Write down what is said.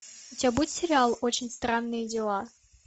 у тебя будет сериал очень странные дела